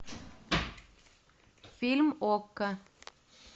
фильм окко